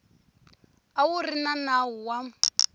a wu ri nawu wa